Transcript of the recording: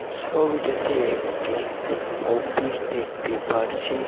সোবিটাতে একটি অপিস দেখতে পারছি।